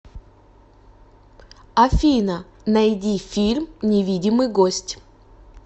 афина найди фильм невидимый гость